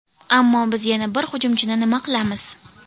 Ammo biz yana bir hujumchini nima qilamiz?